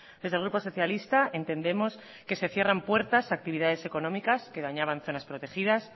desde el grupo socialista entendemos que se cierran puertas a actividades económicas que dañaban zonas protegidas